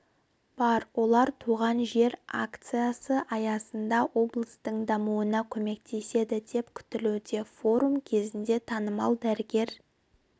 бар олар туған жер акциясы аясында облыстың дамуына көмектеседі деп күтілуде форум кезінде танымал дәрігер